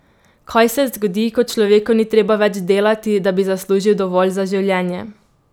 Kaj se zgodi, ko človeku ni treba več delati, da bi zaslužil dovolj za življenje?